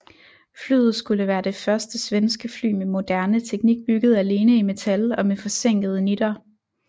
Flyet skulle være det første svenske fly med moderne teknik bygget alene i metal og med forsænkede nitter